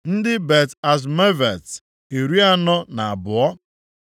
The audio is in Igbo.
ndị Bet-Azmavet, iri anọ na abụọ (42),